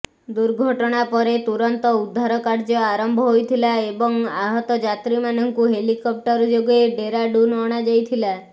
ଦୁର୍ଘଟଣା ପରେ ତୁରନ୍ତ ଉଦ୍ଧାର କାର୍ଯ୍ୟ ଆରମ୍ଭ ହୋଇଥିଲା ଏବଂ ଆହତ ଯାତ୍ରୀମାନଙ୍କୁ ହେଲିକପ୍ଟର ଯୋଗେ ଡେରାଡୁନ୍ ଅଣାଯାଇଥିଲା